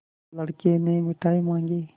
लड़के ने मिठाई मॉँगी